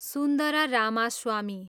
Sundara Ramaswamy